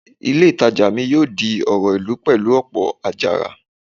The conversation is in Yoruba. Ilé ìtajà mi yóò di ọ̀rọ̀ ìlú pẹ̀lú ọ̀pọ̀ àjàrà